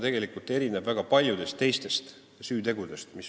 Selles mõttes erineb see väga paljudest teistest süütegudest.